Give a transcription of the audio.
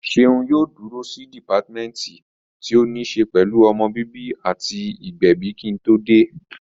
Ṣeun yóò dúró sí dìpátímẹ́ǹtì tí ó ní ṣe pẹ̀lú ọmọ bíbí àti ìgbẹ̀bi kí n tó dé